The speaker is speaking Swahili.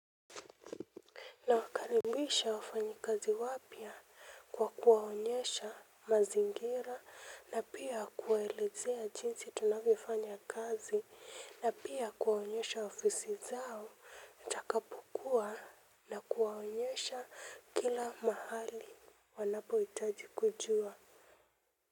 Nawakaribisha wafanyi kazi wapya kwa kuwaonyesha mazingira na pia kuwaelezea jinsi tunavyofanya kazi na pia kuwaonyesha ofisi zao nitakapokuwa na kuwaonyesha kila mahali wanapohitaji kujua.